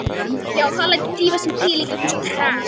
Mér finnst þau svo sönn og rétt í alla staði.